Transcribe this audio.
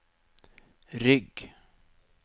rygg